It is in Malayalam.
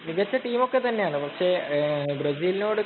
മികച്ച ടീമോക്കെ തന്നെയാണ്. പക്ഷേ, ബ്രസീലിനോട്